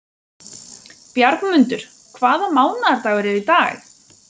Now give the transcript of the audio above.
Bjargmundur, hvaða mánaðardagur er í dag?